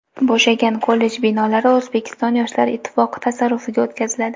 Bo‘shagan kollej binolari O‘zbekiston yoshlar ittifoqi tasarrufiga o‘tkaziladi.